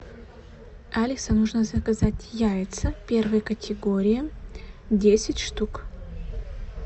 алиса нужно заказать яйца первой категории десять штук